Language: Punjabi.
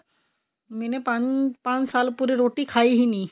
ਮੈਨੇ ਪੰਜ ਪੰਜ ਸਾਲ ਪੂਰੇ ਰੋਟੀ ਖਾਈ ਹੀ ਨੀ